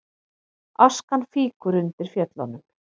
Askan fýkur undir Fjöllunum